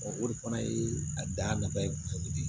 o de fana ye a dan nafa ye kosɛbɛ